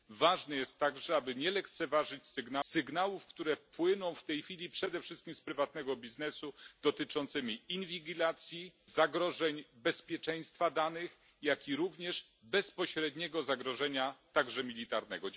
Ważne jest także, aby nie lekceważyć sygnałów, które płyną w tej chwili przede wszystkim z prywatnego biznesu, dotyczącymi inwigilacji, zagrożeń bezpieczeństwa danych, jak również bezpośredniego zagrożenia militarnego.